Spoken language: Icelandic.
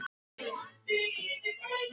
En svo fór að ég varð eins og hún.